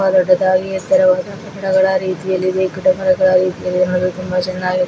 ದೊಡ್ಡದಾಗಿ ಎತ್ತರವಾದ ಕಟ್ಟಡಗಳ ರೀತಿಯಲ್ಲಿದೆ ಗಿಡಮರಗಳ ರೀತಿ ನೋಡಿದ್ರೆ ತುಂಬಾ ಚೆನ್ನಾಗಿ --